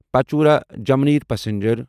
Pachora Jamner passenger